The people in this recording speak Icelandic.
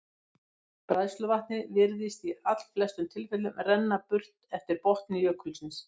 Bræðsluvatnið virðist í allflestum tilfellum renna burt eftir botni jökulsins.